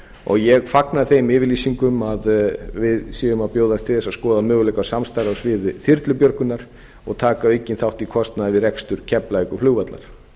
og ég fagna þeim yfirlýsingum að við séum að bjóðast til þess að skoða möguleika á samstarfi á sviði þyrlubjörgunar og taka aukinn þátt í kostnaði við rekstur keflavíkurflugvallar